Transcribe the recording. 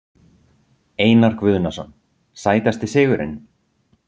Einar Guðnason Sætasti sigurinn?